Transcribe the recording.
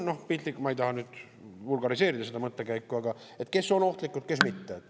Piltlikult, ma ei taha nüüd vulgariseerida seda mõttekäiku, aga kes on ohtlikud, kes mitte?